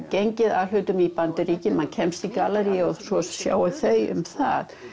gengið að hlutunum í USA maður kemst í gallerí og svo sjá þau um það